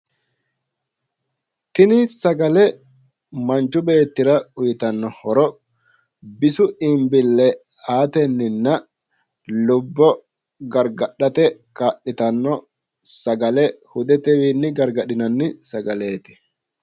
Tini sagale manchu beettira uuyitanno horo bisu iibbille aatennina lubbo gargadhate kaa'litanno sagale hudetewiinni gargadhinanni sagaleeti.